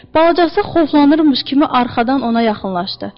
Balacası xovlanırmış kimi arxadan ona yaxınlaşdı.